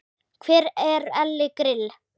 Hver er Elli Grill?